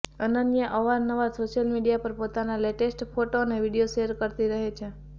અનન્યા અવાર નવાર social media પર પોતાન લેટેસ્ટ ફોટો અને વીડિયો શેર કરતી રહે છે